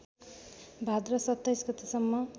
भाद्र २७ गतेसम्म